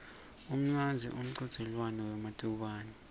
umnandzi umchudzelwano wematubane